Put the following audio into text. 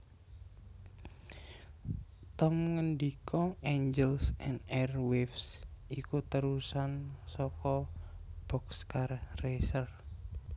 Tom ngendika Angels and Airwaves iku térusan saka Boxcar Racer